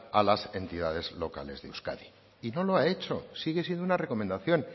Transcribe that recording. a las entidades locales de euskadi y no lo ha hecho sigue siendo una recomendación